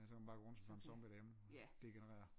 Ja så kan man bare gå rundt som sådan en zombie derhjemme og degenerere